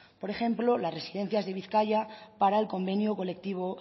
por ejemplo las residencias de bizkaia para el convenio colectivo